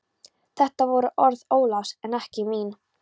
Þetta voru orð Ólafs en ekki mín.